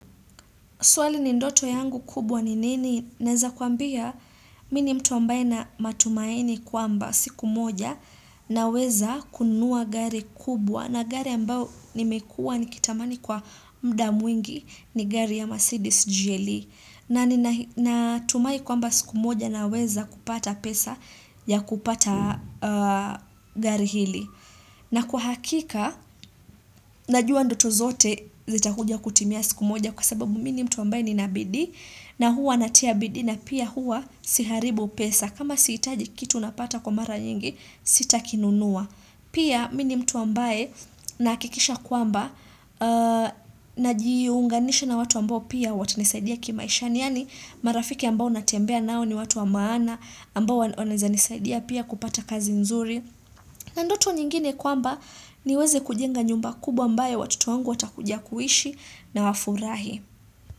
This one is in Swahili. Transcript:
Swali ni ndoto yangu kubwa ni nini? Naeza kuambia mini mtu ambaye na matumaini kwa mba siku moja na weza kununua gari kubwa na gari ambao nimekua nikitamani kwa mda mwingi ni gari ya Mercedes GLE. Na natumai kwa mba siku moja na weza kupata pesa ya kupata gari hili. Na kwa hakika, najua ndoto zote zita kuja kutimia siku moja kwa sababu mini mtu ambaye ni nabidii na huwa natia bidii na pia huwa siharibu pesa. Kama siitaji kitu unapata kwa mara nyingi, sitakinunua. Pia mini mtu ambaye nahakikisha kwamba na jiunganisha na watu ambao pia watanisaidia kimaisha. Yaani marafiki ambao natembea nao ni watu wa maana, ambao wanaeza nisaidia pia kupata kazi nzuri. Na ndoto nyingine kwamba niweze kujenga nyumba kubwa ambayo watoto wangu watakuja kuishi na wafurahi.